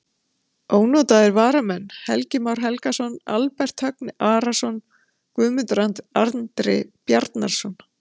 Ónotaðir varamenn: Helgi Már Helgason, Albert Högni Arason, Guðmundur Andri Bjarnason.